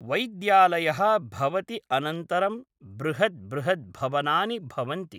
वैद्यालयः भवति अनन्तरं बृहद् बृहद् भवनानि भवन्ति